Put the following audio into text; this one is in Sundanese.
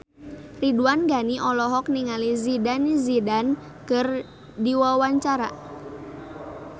Ridwan Ghani olohok ningali Zidane Zidane keur diwawancara